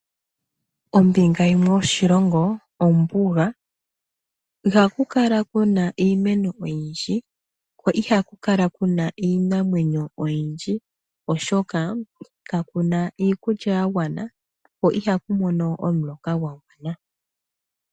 Ombinga yimwe yoshilongo, ombuga iha ku kala ku na iimeno oyindji, ko ihaku kala ku na ii iinamwenyo oyindji, oshoka kaku na iikulya ya gwana, ko iha ku mono omuloka gwa gwana.